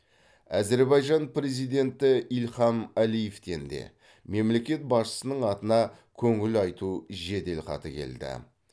әзербайжан президенті ильхам әлиевтен де мемлекет басшысының атына көңіл айту жеделхаты келді